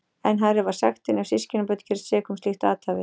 Enn hærri var sektin ef systkinabörn gerðust sek um slíkt athæfi.